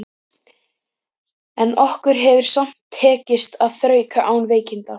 En okkur hefur samt tekist að þrauka án veikinda.